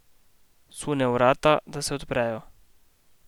Sune v vrata, da se odprejo.